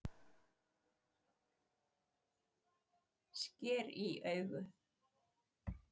Sker í augu